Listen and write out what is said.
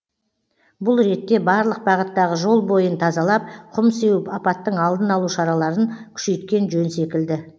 бұл ретте барлық бағыттағы жол бойын тазалап құм сеуіп апаттың алдын алу шараларын күшейткен жөн секілді